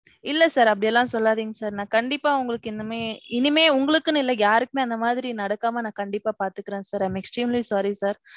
இல்ல sir அப்படி எல்லாம் சொல்லாதீங்க sir. நான் கண்டிப்பா உங்களுக்கு இனிமே, இனிமே உங்களுக்குனு இல்ல யாருக்குமே இந்த மாதிரி நடக்காம நான் கண்டிப்பா பாத்துக்குறேன் sir. I am extremely sorry sir.